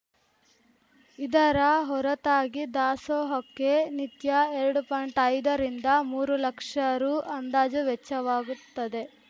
ಇದರ ಹೊರತಾಗಿ ದಾಸೋಹಕ್ಕೆ ನಿತ್ಯ ಎರಡು ಪಾಯಿಂಟ್ಐದ ರಿಂದ ಮೂರು ಲಕ್ಷ ರು ಅಂದಾಜು ವೆಚ್ಚವಾಗುತ್ತದೆ